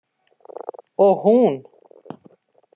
Og hún.